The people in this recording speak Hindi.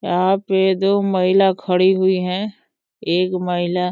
यहाँ पे दो महिला खड़ी हुई हैं। एक महिला --